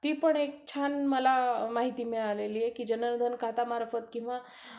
ती पण मला एक छान माहिती मिळालेली आहे की जनधन खात्यांमार्फत किंवा